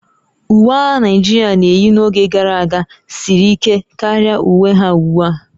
Uwe agha Naijiria na-eyi n'oge gara aga siri ike karịa uwe ha ugbu a